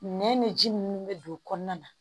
Nɛn bɛ ji minnu bɛ don kɔnɔna na